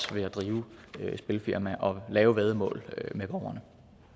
ved at drive et spilfirma og lave væddemål med borgerne